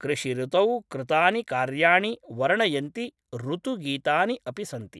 कृषिऋतौ कृतानि कार्याणि वर्णयन्ति ऋतुगीतानि अपि सन्ति ।